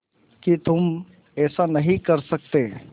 कि तुम ऐसा नहीं कर सकते